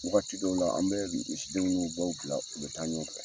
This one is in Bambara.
Wagati dɔw la an bɛ misidenw n'u baw bila u bɛ taa ɲɔgɔn fɛ.